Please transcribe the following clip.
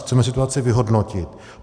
Chceme situaci vyhodnotit.